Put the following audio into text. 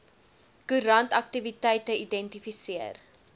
koerant aktiwiteite identifiseer